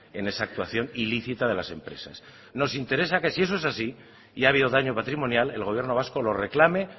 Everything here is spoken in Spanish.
en esa actuación ilícita de las empresas nos interesa que si eso es así y ha habido daño patrimonial el gobierno vasco lo reclame